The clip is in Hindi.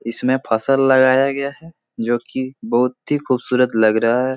इसमें फसल लगाया गया है जो कि बहुत ही खूबसूरत लग रहा है।